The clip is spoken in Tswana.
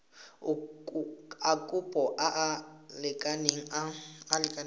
a kopo a a lekaneng